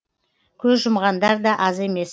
көз жұмғандар да аз емес